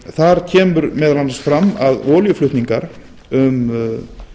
þar kemur meðal annars fram að olíuflutningar um